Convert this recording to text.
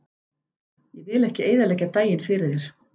Ég vil ekki eyðileggja daginn fyrir þér.